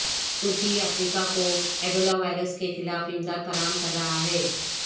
ترکی افریقہ کو Ebola virus کے خلاف امداد فراہم کر رہا ہے